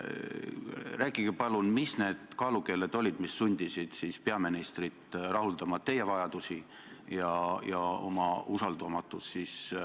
Rääkige palun, mis need kaalukeeled olid, mis sundisid peaministrit rahuldama teie vajadusi ja oma usaldamatust.